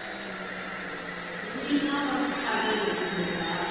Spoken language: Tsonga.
wina wa xitlhavelo kumbe ndhawu